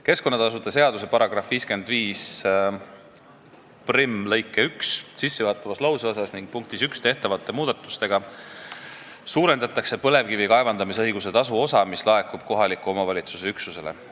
Keskkonnatasude seaduse § 551 lõike 11 sissejuhatavas lauseosas ning punktis 1 tehtavate muudatustega suurendatakse põlevkivi kaevandamisõiguse tasu osa, mis laekub kohaliku omavalitsuse üksusele.